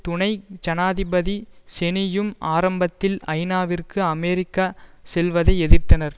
துணை ஜனாதிபதி செனியும் ஆரம்பத்தில் ஐநாவிற்கு அமெரிக்கா செல்வதை எதிர்த்தனர்